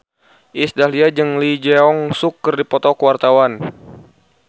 Iis Dahlia jeung Lee Jeong Suk keur dipoto ku wartawan